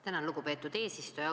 Tänan, lugupeetud eesistuja!